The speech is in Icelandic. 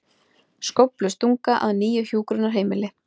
Skóflustunga að nýju hjúkrunarheimili